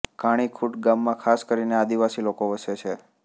ઘાણીખુંટ ગામમાં ખાસ કરીને આદિવાસી લોકો વસે છે